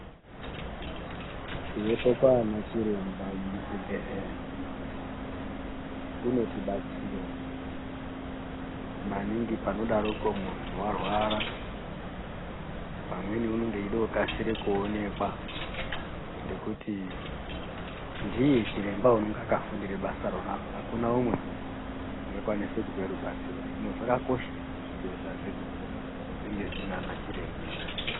Kuvepo kwaana chiremba muzvibhedhlera kunotibatsira maningi panodaroko muntu warwara pamweni unenge eida kukasire kuonekwa ngekuti ndiye chiremba unonge akafundire basa rona iroro hakuna umwe ungakwanisa kupa rubatsiro hino zvakakosha kuti zvibhedhlera zvedu zvinge zvinana chiremba.